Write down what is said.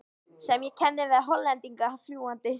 sem ég kenni við Hollendinginn fljúgandi.